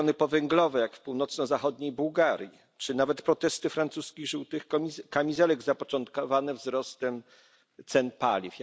regiony powęglowe, jak w północno zachodniej Bułgarii, czy nawet protesty francuskich żółtych kamizelek zapoczątkowane wzrostem cen paliw.